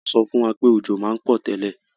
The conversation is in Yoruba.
Wo so fún wa pé òjò ma n pò tẹ́lẹ̀